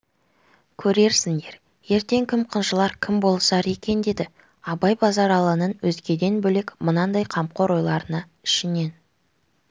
көрерсіңдер ертең кім қынжылар кім болысар екен деді абай базаралының өзгеден бөлек мынандай қамқор ойларына ішінен